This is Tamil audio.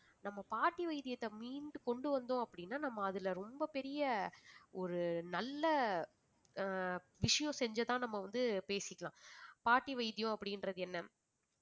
நம்ம பாட்டி வைத்தியத்தை மீண்டும் கொண்டு வந்தோம் அப்படின்னா நம்ம அதுல ரொம்ப பெரிய ஒரு நல்ல ஆஹ் விஷயம் செஞ்சுதான் நம்ம வந்து பேசிக்கலாம் பாட்டி வைத்தியம் அப்படின்றது என்ன